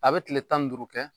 A be kile tan ni duuru kɛ